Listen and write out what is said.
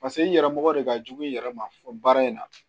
Paseke i yɛrɛ mɔgɔ de ka jugu i yɛrɛ ma fɔ baara in na